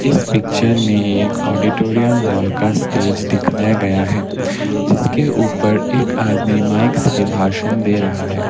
इस पिक्चर में एक ऑडिटोरियम हॉल का स्टेज दिखाया गया है जिसके ऊपर एक आदमी माइक से भाषण दे रहा है।